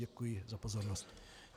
Děkuji za pozornost.